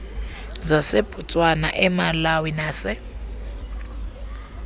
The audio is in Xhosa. zasebotswana emalawi nase